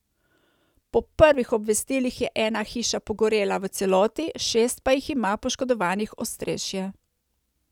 Po prvih obvestilih je ena hiša pogorela v celoti, šest pa jih ima poškodovanih ostrešje.